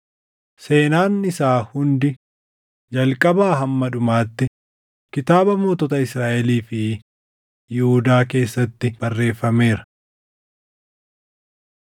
seenaan isaa hundi jalqabaa hamma dhumaatti kitaaba mootota Israaʼelii fi Yihuudaa keessatti barreeffameera.